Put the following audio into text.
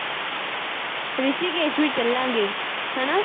ਰਿਸ਼ੀਕੇਸ਼ ਵੀ ਚੱਲਾਂਗੇ। ਹਨਾ?